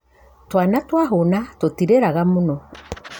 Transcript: Twana twahũna tũtirĩraga mũno.